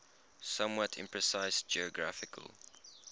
somewhat imprecise geographical